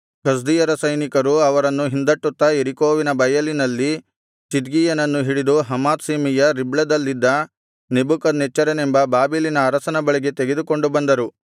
ಕಸ್ದೀಯರ ಸೈನಿಕರು ಅವರನ್ನು ಹಿಂದಟ್ಟುತ್ತಾ ಯೆರಿಕೋವಿನ ಬಯಲಿನಲ್ಲಿ ಚಿದ್ಕೀಯನನ್ನು ಹಿಡಿದು ಹಮಾತ್ ಸೀಮೆಯ ರಿಬ್ಲದಲ್ಲಿದ್ದ ನೆಬೂಕದ್ನೆಚ್ಚರನೆಂಬ ಬಾಬೆಲಿನ ಅರಸನ ಬಳಿಗೆ ತೆಗೆದುಕೊಂಡು ಬಂದರು